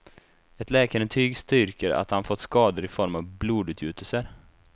Ett läkarintyg styrker att han fått skador i form av blodutgjutelser.